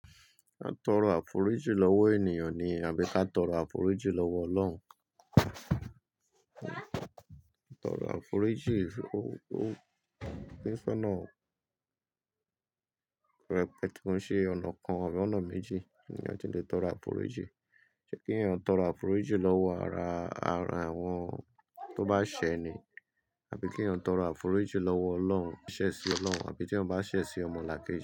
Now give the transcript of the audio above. A tọrọ àforíjì lọ́wọ́ ènìyàn ni àbí ká tọrọ àforíjì lọ́wọ́ Ọlọ́run. Tọrọ àforíjì, ó ń sọ́nà pẹ́kùn ṣe ọ̀nà kan àbí ọ̀nà méjì ní ẹni ọ̀tí lè tọrọ àforíjì. Ṣé kí ènìyàn tọrọ àforíjì lọ́wọ́ ara àwọn tó bá ṣẹ̀ ni àbí kí ènìyàn tọrọ àforíjì lọ́wọ́ Ọlọ́run, ṣẹ̀ sí Ọlọ́run àbí tí wọ́n bá ṣẹ̀ sí ọmọlàkẹ́jì.